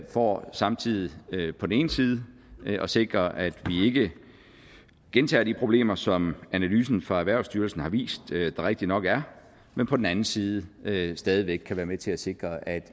for samtidig på den ene side at sikre at vi ikke gentager de problemer som analysen fra erhvervsstyrelsen har vist at der rigtig nok er men på den anden side stadig væk kan være med til at sikre at